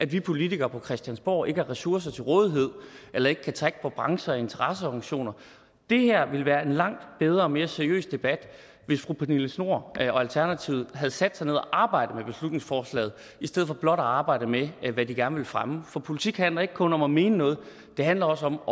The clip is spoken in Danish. vi politikere på christiansborg ikke har ressourcer til rådighed eller ikke kan trække på brancher eller interesseorganisationer det her ville være en langt bedre og mere seriøs debat hvis fru pernille schnoor og alternativet havde sat sig ned og arbejdet med beslutningsforslaget i stedet for blot at arbejde med hvad de gerne vil fremme for politik handler ikke kun om at mene noget det handler også om